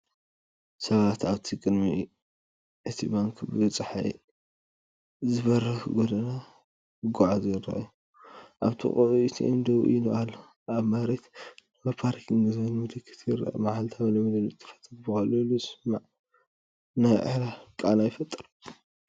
ሰባት ኣብቲ ኣብ ቅድሚ እቲ ባንክ ብጸሓይ ዝበርህ ጎደና ክጓዓዙ ይረኣዩ። ኣብ ጥቓኡ ኤቲኤም ደው ኢሉ ኣሎ፤ ኣብ መሬት “NO PARKING” ዝብል ምልክት ይርአ። መዓልታዊ ልምዲ ንጥፈታት ብቐሊሉ ዝስማዕ ናይ ዕላል ቃና ይፈጥር።